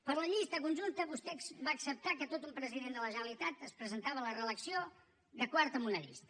per a la llista conjunta vostè va acceptar que tot un president de la generalitat es presentava a la reelecció de quart en una llista